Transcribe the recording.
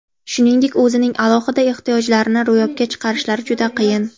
Shuningdek, o‘zining alohida ehtiyojlarini ro‘yobga chiqarishlari juda qiyin.